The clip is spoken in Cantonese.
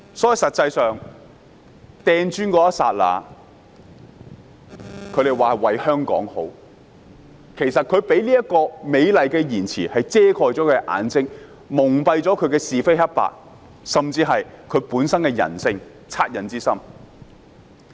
他們說投擲磚頭是為了香港好，但他們用這個美麗的謊言遮蓋自己的眼睛，蒙蔽是非黑白，甚至本身人性的惻隱之心。